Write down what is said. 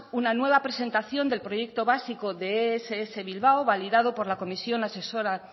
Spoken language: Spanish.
una nueva presentación del proyecto básico de ess bilbao validado por la comisión asesora